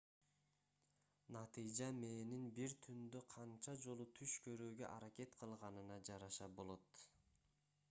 натыйжа мээнин бир түндө канча жолу түш көрүүгө аракет кылганына жараша болот